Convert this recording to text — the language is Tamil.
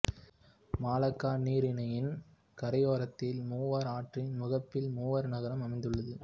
மலாக்கா நீரிணையின் கரையோரத்தில் மூவார் ஆற்றின் முகப்பில் மூவார் நகரம் அமைந்து உள்ளது